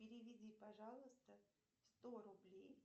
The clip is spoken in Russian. переведи пожалуйста сто рублей